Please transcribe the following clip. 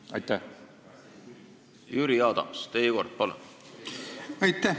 Aitäh!